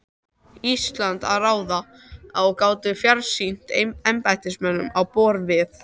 Íslandi að ráða og gátu fjarstýrt embættismönnum á borð við